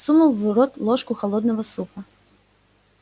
сунул в рот ложку холодного супа